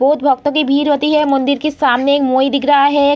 बहुत भक्तों की भीड़ होती हैं मंदिर के सामने मोई दिख रहा हैं।